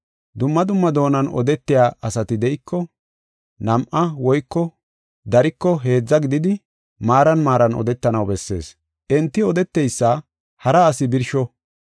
Dumma dumma doonan odetiya asati de7iko, nam7a woyko dariko heedza gididi maaran maaran odetanaw bessees. Enti odeteysa hara asi birsho.